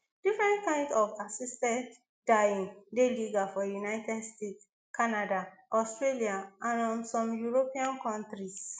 different kains of assisted dying dey legal for united states canada australia and um some european kontris